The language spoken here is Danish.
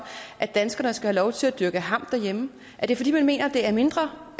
at danskerne skal have lov til at dyrke hamp derhjemme er det fordi man mener det er mindre